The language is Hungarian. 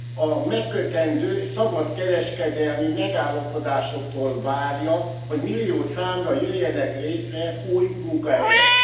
A megkötendő szabadkereskedelmi megállapodásoktól várja, hogy millió számra jöjjenek létre új munkahelyek.